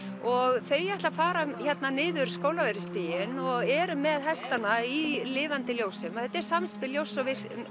og þau ætla að fara hérna niður Skólavörðustíginn og eru með hestana í lifandi ljósum þetta er samspil ljóss